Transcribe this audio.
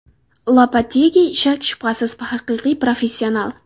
Lopetegi shak-shubhasiz haqiqiy professional.